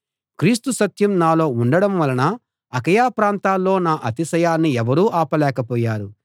క్రీస్తు సత్యం నాలో ఉండడం వలన అకయ ప్రాంతాల్లో నా అతిశయాన్ని ఎవరూ ఆపలేకపోయారు